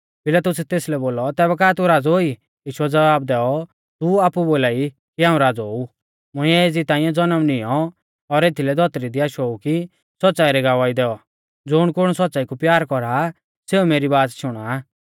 पिलातुसै तेसलै बोलौ तैबै का तू राज़ौ ई यीशुऐ ज़वाब दैऔ तू आपु बोलाई की हाऊं राज़ौ ऊ मुंइऐ एज़ी ताइंऐ ज़नम निऔं और एथीलै धौतरी दी आशो ऊ कि सौच़्च़ाई री गवाही दैऔ ज़ुणकुण सौच़्च़ाई कु प्यार कौरा आ सेऊ मेरी बाच़ शुणा आ